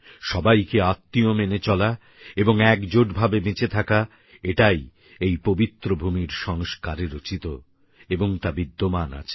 সবাইকে আত্মীয় মেনে চলা এবং এক জোট ভাবে বেঁচে থাকা এটাই এই পবিত্র ভূমির সংস্কারে রচিত এবং বিদ্যমান আছে